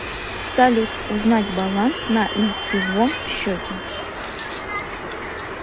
салют узнать баланс на лицивом счете